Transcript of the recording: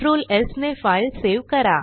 Ctrl स् ने file save करा